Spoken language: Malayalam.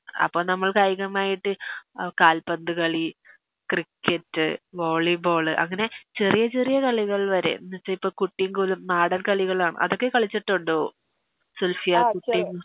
അപ്പൊ നമ്മൾ കായികമായിട്ട് കാൽപ്പന്ത് കളി ക്രിക്കറ്റ് വോളിബോള് അങ്ങനെ ചെറിയ ചെറിയ കളികൾ വരെ എന്ന് വെച്ച ഇപ്പൊ കുട്ടീം കോലും നാടൻ കളികള് കളിച്ചിട്ടുണ്ടോ അതൊക്കെ സുൽഫിയാ കുട്ടീം